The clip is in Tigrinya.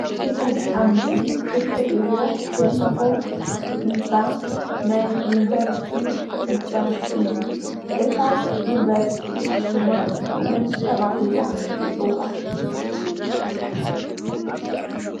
እዚ ኣብ ምስሊ እትርእይዎ ዘለኩም ህንፃ ናይ ዩኒቨርስቲ ህንፃ እዩ። እታ ዩኒቨርስቲ ሽማ መን ተባሂላ ትፅዋዕ?